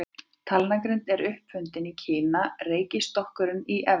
Talnagrindin er upp fundin í Kína, reiknistokkurinn í Evrópu.